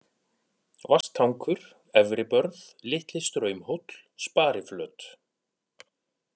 Vatnstankur, Efribörð, Litli-Straumhóll, Spariflöt